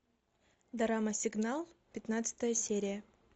драма сигнал пятнадцатая серия